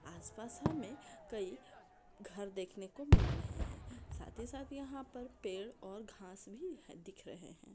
आसपास हमे कई घर देखने को मिल रहे है साथ ही साथ यहा पर पेड़ और घास भी दिख रहे है।